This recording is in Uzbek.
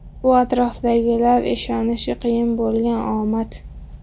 Bu atrofdagilar ishonishi qiyin bo‘lgan omad.